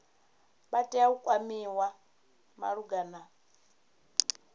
vha tea u kwamiwa malugana